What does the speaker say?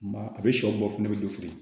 Ba a bɛ sɔ bɔ fana i bɛ dɔ feere